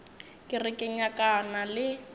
ke re ke nyakana le